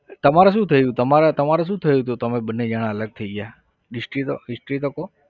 તમારા શું થયુ હતું તમારે શું થયું હતું તો તમે મને જણા અલગ થઇ ગયા history તો history તો કહો.